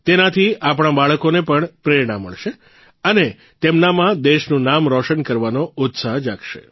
તેનાથી આપણાં બાળકોને પણ પ્રેરણા મળશે અને તેમનામાં દેશનું નામ રોશન કરવાનો ઉત્સાહ જાગશે